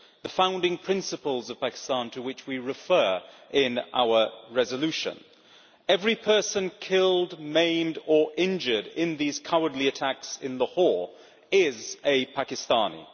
Those are the founding principles of Pakistan to which we refer in our resolution. Every person killed, maimed or injured in these cowardly attacks in Lahore is a Pakistani.